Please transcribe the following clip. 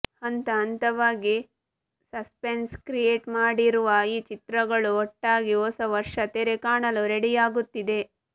ಹಂತ ಹಂತವಾಗಿ suspense create ಮಾಡಿರುವ ಈ ಚಿತ್ರಗಳು ಒಟ್ಟಾಗಿ ಹೊಸ ವರ್ಷ ತೆರೆ ಕಾಣಲು ರೆಡಿಯಾಗುತ್ತಿದೆ